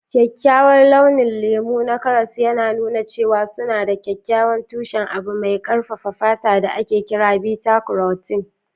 Kyakkyawar launin lemu na karas yana nuna cewa suna da kyakkyawan tushen abu mai karfafa fata da ake kira beta-karotin.